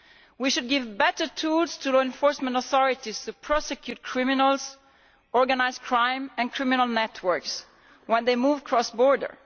We should give better tools to law enforcement authorities to prosecute criminals, organised crime and criminal networks when they move cross border.